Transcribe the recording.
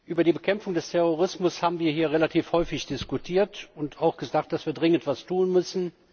Über die Bekämpfung des Terrorismus haben wir hier relativ häufig diskutiert und auch gesagt, dass wir dringend etwas tun müssen.